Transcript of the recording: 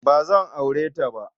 Ba zan aure ta ba.